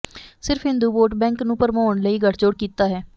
ਸਿਰਫ Hindu vote bank ਨੂੰ ਭਰਮਾਉਣ ਲਈ ਗੱਠਜੋੜ ਕੀਤਾ ਹੈ